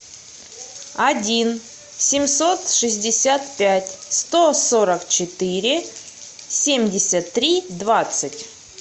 один семьсот шестьдесят пять сто сорок четыре семьдесят три двадцать